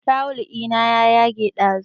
Tawul ina ya yage ɗazu